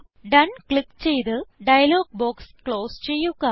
done click ചെയ്ത് dialog box close ചെയ്യുക